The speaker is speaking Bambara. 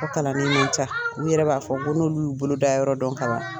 mɔgɔ kalan ni ma ca n yɛrɛ b'a fɔ ko n'olu bolo da yɔrɔ dɔn kalan